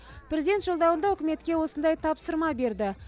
президент жолдауында үкіметке осындай тапсырма берді